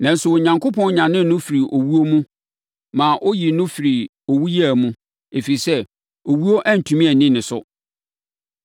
Nanso, Onyankopɔn nyanee no firii owuo mu maa ɔyii no firii owuyea mu, ɛfiri sɛ, owuo antumi anni ne so.”